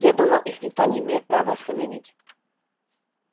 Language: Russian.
я думал их никто не имеет права остановить